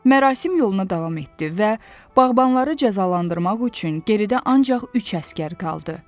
Mərasim yoluna davam etdi və bağbanları cəzalandırmaq üçün geridə ancaq üç əsgər qaldı.